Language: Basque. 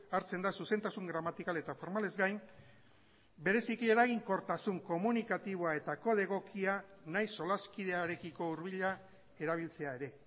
hartzen da zuzentasun gramatikal eta formalez gain bereziki eraginkortasun komunikatiboa eta kode egokia nahi solaskidearekiko hurbila erabiltzea ere